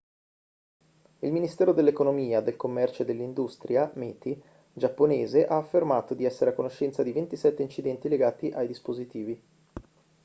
il ministero dell'economia del commercio e dell'industria meti giapponese ha affermato di essere a conoscenza di 27 incidenti legati ai dispositivi